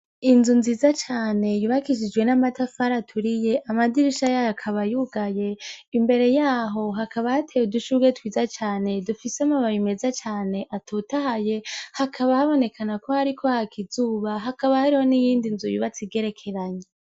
Inzu ziza cane yubakishishwe namatafari aturiye amadirisha yugaye imbere yaho hakaba hateye udushurwe twiza cane dufise amababi meza cane atotahaye hakaba habonekana ko hariko haka izuba hakaba hari niyindi nzu yegeranye